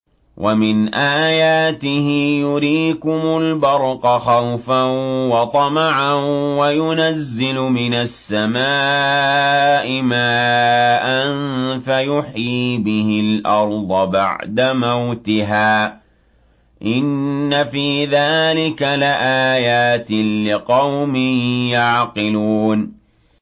وَمِنْ آيَاتِهِ يُرِيكُمُ الْبَرْقَ خَوْفًا وَطَمَعًا وَيُنَزِّلُ مِنَ السَّمَاءِ مَاءً فَيُحْيِي بِهِ الْأَرْضَ بَعْدَ مَوْتِهَا ۚ إِنَّ فِي ذَٰلِكَ لَآيَاتٍ لِّقَوْمٍ يَعْقِلُونَ